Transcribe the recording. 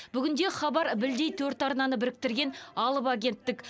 бүгінде хабар білдей төрт арнаны біріктірген алып агенттік